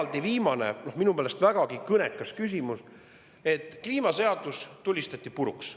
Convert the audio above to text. On veel viimane, minu meelest vägagi kõnekas: kliimaseadus tulistati puruks.